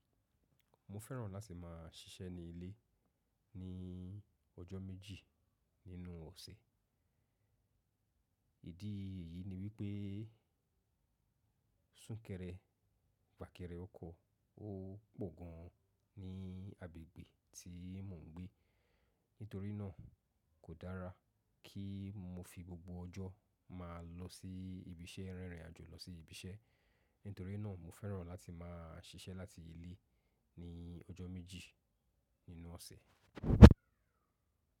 Mo fẹ́ràn láti máa ṣiṣẹ́ ní ilé ní ọjọ́ méjì nínú ọ̀sẹ̀. Ìdí ìyí ni wípé súnkẹrẹ fàkẹrẹ ọkọ̀ ó pọ̀ gan ní agbègbè tí mò ń gbé. Nítorí náà kò dára kí mo fi gbogbo ọjọ́ máa lọ sí ibi iṣẹ́ rírin àjò lọ sí ibi iṣẹ́. Nítorí náà mo fẹ́ràn láti máa ṣiṣẹ́ láti ilé ní ọjọ́ méjì nínú ọ̀sẹ̀.